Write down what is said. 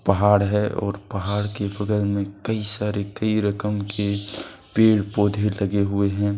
पहाड़ है और पहाड़ के बगल में कई सारे कई रकम के पेड़ पौधे लगे हुए हैं।